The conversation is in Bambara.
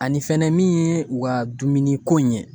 Ani fɛnɛ min ye u ka dumuni ko in ye